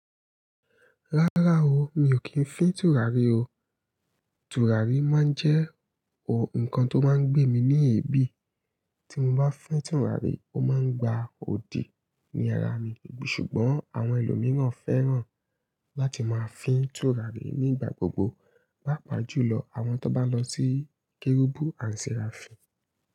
Rárá o, mi ò kí ń fín tùràrí o. Tùràrí má ń jẹ́ ohun kan tó má ń gbé mi ní èébí. Tí mo bá fín tùràrí, ó má ń gba odi ní ara mi. Ṣùgbọ́n àwọn ẹlòmíràn fẹ́ràn láti máa fín tùràrí nígbà gbogbo. Papa jùlọ àwọn tó bá lọ sí kérúbù and serafi.